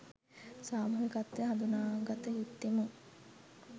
සාමූහිකව හඳුනාගත යුත්තෙමු.